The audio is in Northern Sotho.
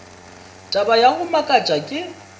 taba ya go makatša ke